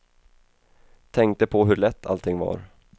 Tänkte på hur lätt allting var.